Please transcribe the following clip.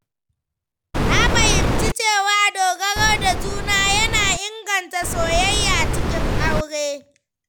Na fahimci cewa dogaro da juna yana inganta soyayya cikin aure.